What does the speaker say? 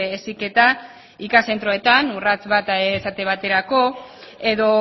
heziketa ikas zentroetan urrats bat esate baterako edo